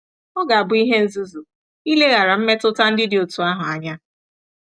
Ọ ga-abụ ihe nzuzu ileghara mmetụta ndị dị otú ahụ anya.